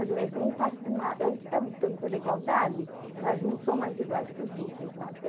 A gente está lutando pela igualdade, mas uns são mais iguais que os outros lá, viu?